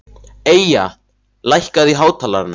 Eyja, lækkaðu í hátalaranum.